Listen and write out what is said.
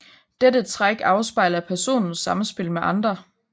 Dette træk afspejler personens samspil med andre